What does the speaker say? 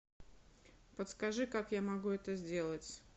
подскажи как я могу это сделать